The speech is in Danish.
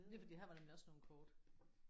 Det er fordi her var der nemlig også nogle kort